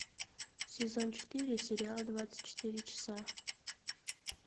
сезон четыре сериал двадцать четыре часа